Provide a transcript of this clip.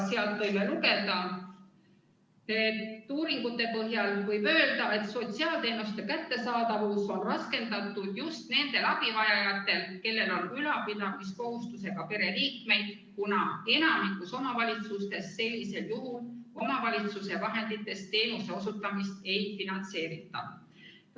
Sealt võime lugeda: "Uuringute põhjal võib öelda, et sotsiaalteenuste kättesaadavus on raskendatud just nendel abivajajatel, kellel on ülalpidamiskohustusega pereliikmeid, kuna enamikus omavalitsustes sellisel juhul omavalitsuse vahenditest teenuse osutamist ei finantseerita.